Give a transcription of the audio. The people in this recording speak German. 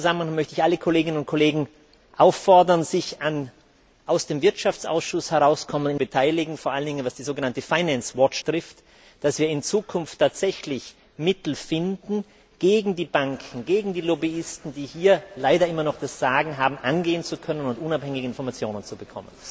In diesem Zusammenhang möchte ich alle Kolleginnen und Kollegen auffordern, sich an Initiativen aus dem Wirtschaftsausschuss zu beteiligen, vor allen Dingen was die sogenannte betrifft, damit wir in Zukunft tatsächlich Mittel finden, um gegen die Banken, gegen die Lobbyisten, die hier leider immer noch das Sagen haben, vorgehen zu können und unabhängige Informationen zu bekommen.